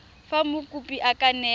fa mokopi a ka newa